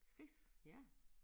Chris ja